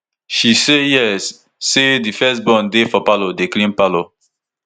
she say yes say di first born dey for parlour dey clean parlour